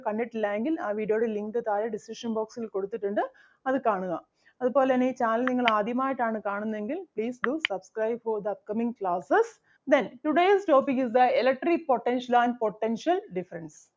കണ്ടിട്ടില്ലായെങ്കിൽ ആ video ടെ link താഴെ description box ൽ കൊടുത്തിട്ടുണ്ട് അത് കാണുക. അതുപോലെ തന്നെ ഈ channel നിങ്ങൾ ആദ്യമായിട്ടാണ് കാണുന്നതെങ്കിൽ please do subscribe for the upcoming classes. Then today's topic is the electric potential and potential difference